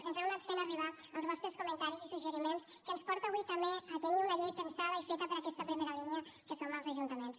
ens heu anat fent arribar els vostres comentaris i suggeriments que ens porta avui també a tenir una llei pensada i feta per aquesta primera línia que són els ajuntaments